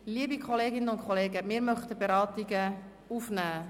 Liebe Kolleginnen und Kollegen, wir möchten die Beratungen aufnehmen.